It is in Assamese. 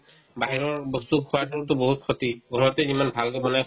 বাহিৰৰ বস্তু খোৱাতোতো বহুত ক্ষতি ঘৰতে যিমান ভালকে বনাই